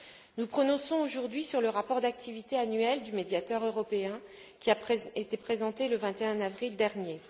Nous nous prononçons aujourd'hui sur le rapport d'activité annuel du médiateur européen, qui a été présenté le 21 avril dernier.